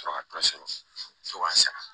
Sɔrɔ ka dɔ sɔrɔ fo ka sara